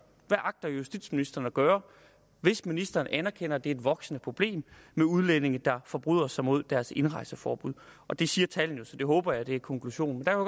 hvad agter justitsministeren at gøre hvis ministeren anerkender at der er et voksende problem med udlændinge der forbryder sig mod deres indrejseforbud og det siger tallene så det håber jeg er konklusionen